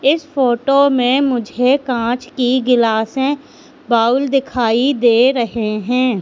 इस फोटो में मुझे कांच की गिलासे बाउल दिखाई दे रहे हैं।